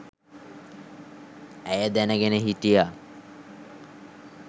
ඇය දැනගෙන හිටියා